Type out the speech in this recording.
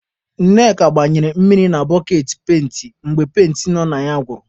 Ṅneka gbanyere mmiri na boketị penti mgbe penti nọ na ya gwụrụ.